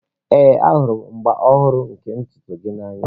Ee, ahụrụ m agba ọhụrụ nke ntutu gị n'anya